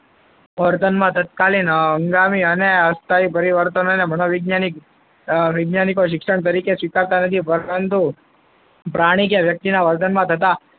વર્તનમાં તત્કાલીન હંગામી અને અસ્થાયી પરિવર્તન મનોવૈજ્ઞાનિક વૈજ્ઞાનિકો શિક્ષણ તરીકે સ્વીકારતા નથી. પરંતુ પ્રાણી કે વ્યક્તિના વર્તનમાં થતા,